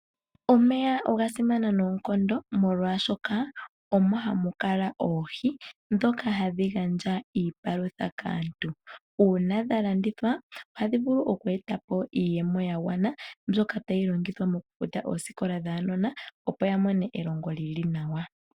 Omeya oga simana noonkondo molwaashoka omo hamu kala oohi ndhoka hadhi gandja iipalutha kaantu. Uuna dha landithwa ohadhi vulu okweeta po iiyemo yagwana mbyoka tayi longithwa mokufuta oosikola dhaanona opo ya mone elongo li li nawa.